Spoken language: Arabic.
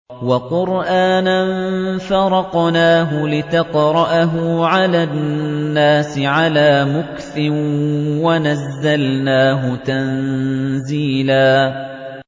وَقُرْآنًا فَرَقْنَاهُ لِتَقْرَأَهُ عَلَى النَّاسِ عَلَىٰ مُكْثٍ وَنَزَّلْنَاهُ تَنزِيلًا